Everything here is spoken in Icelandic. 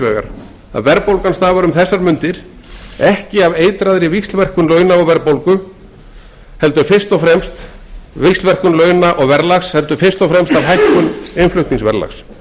því að verðbólgan stafar um þessar mundir ekki af eitraðri víxlverkun launa og verðbólgu heldur fyrst og fremst af hækkun innflutningsverðlags